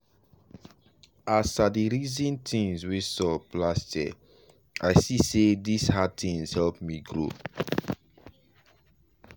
as i dey reason things wey sup last year i see say this hard things help me grow.